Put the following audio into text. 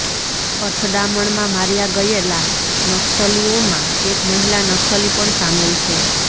અથડામણમાં માર્યા ગયેલા નક્સલીઓમાં એક મહિલા નક્સલી પણ સામેલ છે